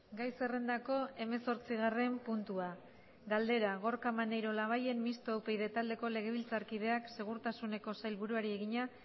gai zerrendako hemezortzigarren puntua galdera gorka maneiro labayen mistoa upyd taldeko legebiltzarkideak segurtasuneko sailburuari egina